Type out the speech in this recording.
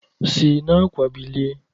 Si n'àkwà bilie